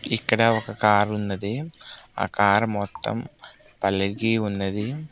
ఇక్కడ ఒక కారు ఉన్నది ఆ కారు మొత్తం పలికి ఉన్నది.